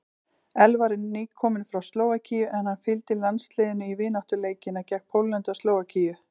Elvar er nýkominn frá Slóvakíu en hann fylgdi landsliðinu í vináttuleikina gegn Póllandi og Slóvakíu.